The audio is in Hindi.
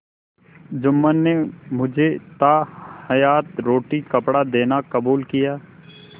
जुम्मन ने मुझे ताहयात रोटीकपड़ा देना कबूल किया